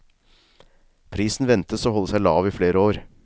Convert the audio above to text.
Prisen ventes å holde seg lav i flere år.